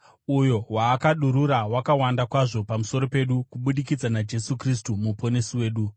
uyo waakadurura wakawanda kwazvo pamusoro pedu kubudikidza naJesu Kristu Muponesi wedu,